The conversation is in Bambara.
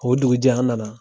O dugujɛ an na na.